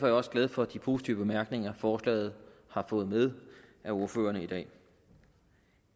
jeg også glad for de positive bemærkninger forslaget har fået med af ordførerne i dag